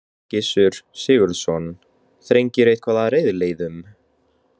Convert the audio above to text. Gissur Sigurðsson: Þrengir eitthvað að reiðleiðum?